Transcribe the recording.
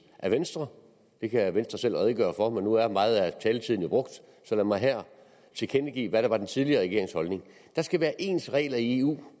af venstre det kan venstre selv redegøre for men nu er meget af taletiden jo brugt så lad mig her tilkendegive hvad der var den tidligere regerings holdning at der skal være ens regler i eu